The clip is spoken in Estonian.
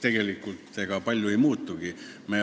Tegelikult ega palju ei muutugi.